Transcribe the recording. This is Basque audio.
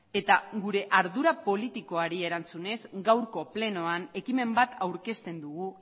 eta gure ardura politikoari erantzunez gaurko plenoan ekimen bat aurkezten dugu